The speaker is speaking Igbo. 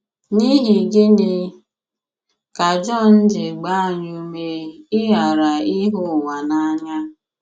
N’ihi gịnị ka Jọn ji gbaa anyị ume ịghara ịhụ ụwa n’anya?